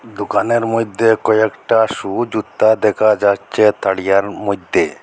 দোকানের মইদ্যে কয়েকটা শু জুতা দেখা যাচ্চে তাড়িয়ার মইদ্যে।